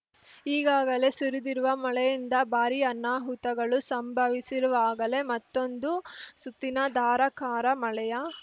ಈಗಾಗಲೇ ಸುರಿದಿರುವ ಮಳೆಯಿಂದ ಭಾರಿ ಅನಾಹುತಗಳು ಸಂಭವಿಸಿರುವಾಗಲೇ ಮತ್ತೊಂದು ಸುತ್ತಿನ ಧಾರಾಕಾರ ಮಳೆಯ